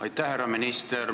Aitäh, härra minister!